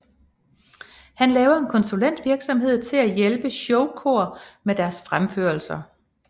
Han laver en konsulentvirksomhed til at hjælpe showkor med deres fremførelser